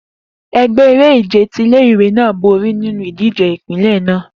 Egbe ere-ije ti ile-iwe naa bori ninu idije ipinlẹ naa